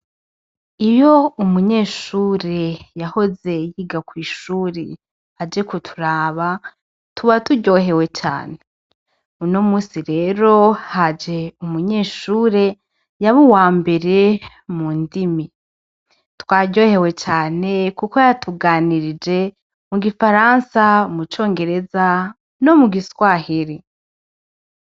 Iyo umunyeshure yahoze yiga kw'ishure, aje kuturaba tuba turyohewe cane, uno musi rero haje umunyeshure yaba uwambere mundimi, twaryohewe cane kuko yatuganirije mu gifaransa, mu congereza no mu giswahiri.